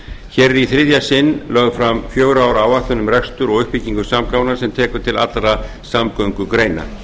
hér er í þriðja sinn lögð fram fjögurra ára áætlun um rekstur og uppbyggingu samgangna sem tekur til allra samgöngugreina